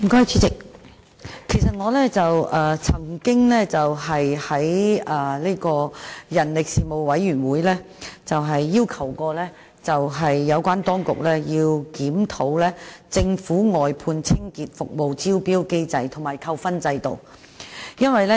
主席，我曾在人力事務委員會要求有關當局檢討政府外判清潔服務的招標機制和扣分制度。